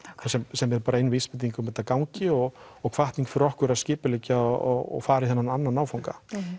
sem er bara ein vísbending um að þetta gangi og og hvatning fyrir okkur að skipuleggja og fara í þennan annan áfanga